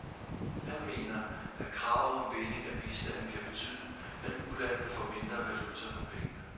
Han mener, at kravet om binding af bistanden kan betyde, at ulandene får mindre valuta for pengene.